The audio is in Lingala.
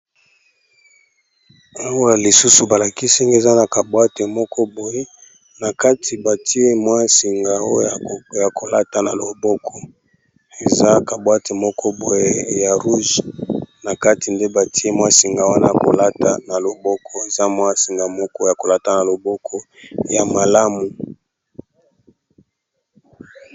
Awa lisusu balakisi ezali bongo singa oyo balataka na loboko